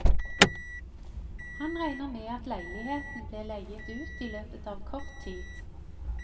Han regner med at leiligheten blir leiet ut i løpet av kort tid.